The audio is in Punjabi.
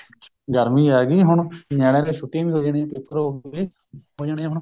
ਗਰਮੀ ਆਂ ਗਈ ਹੁਣ ਨਿਆਣੇ ਦੀਆ ਛੁੱਟੀਆ ਵੀ ਹੋ ਜਾਣੀਆ ਪੇਪਰ ਹੋ ਗਏ ਹੋ ਜਾਣੇ ਏ ਹੁਣ